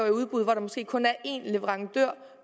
i udbud hvor der måske kun er én leverandør